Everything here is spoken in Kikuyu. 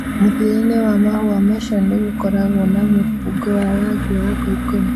Mũthia-inĩ wa mahũa macio nĩ gũkoragwo na mũbungo wa rangi wa ngoikoni